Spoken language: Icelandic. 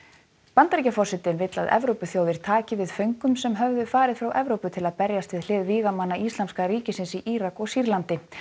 Bandaríkjaforseti vill að Evrópuþjóðir taki við föngum sem höfðu farið frá Evrópu til að berjast við hlið vígamanna Íslamska ríkisins í Írak og Sýrlandi